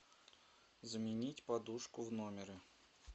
заменить подушку в номере